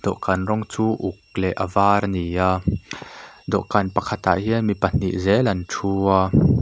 dawhkan rawng chu uk leh a var ani a dawhkan pakhat ah hian mi pahnih zel an thu a.